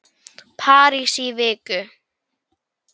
París í viku?